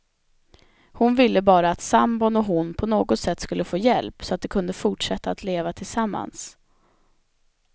Hon ville bara att sambon och hon på något sätt skulle få hjälp, så att de kunde fortsätta att leva tillsammans.